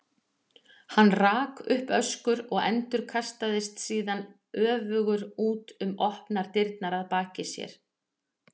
Hann rak upp öskur og endurkastaðist síðan öfugur út um opnar dyrnar að baki sér.